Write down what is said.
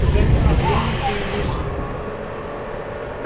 погодите гляну где он лежит